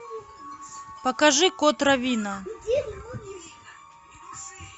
покажи кот раввина